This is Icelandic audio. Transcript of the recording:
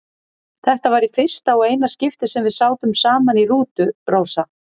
Þetta var í fyrsta og eina skiptið sem við sátum saman í rútu, Rósa.